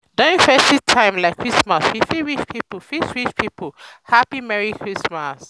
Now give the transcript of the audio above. during festive time like christmas we fit wish pipo fit wish pipo happy merry christmas